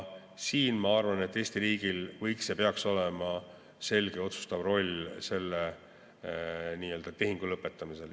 Siin, ma arvan, võiks Eesti riigil olla ja peaks olema selge otsustav roll selle tehingu lõpetamisel.